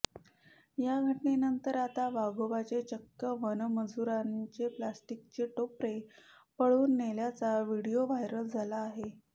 या घटनेनंतर आता वाघोबाने चक्क वनमजुराचे प्लास्टिकचे टोपले पळवून नेल्याचा व्हिडीओ व्हायरल झाला आहे